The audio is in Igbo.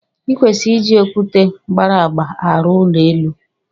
I kwesịrị iji okwute gbara agba arụ ụlọ elu.